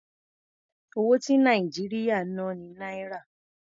Owó ti Nàìjíríà ń ná ni Náírà.